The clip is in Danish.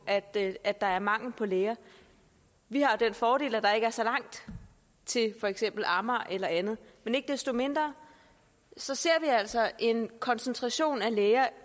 at at der er mangel på læger vi har den fordel at der ikke er så langt til for eksempel amager eller andet men ikke desto mindre ser ser vi altså en koncentration af læger